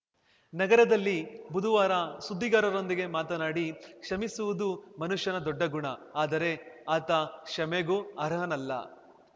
ನಗರದಲ್ಲಿ ಬುದುವಾರ ಸುದ್ದಿಗಾರರೊಂದಿಗೆ ಮಾತನಾಡಿ ಕ್ಷಮಿಸುವುದು ಮನುಷ್ಯನ ದೊಡ್ಡ ಗುಣ ಆದರೆ ಆತ ಕ್ಷಮೆಗೂ ಅರ್ಹನಲ್ಲ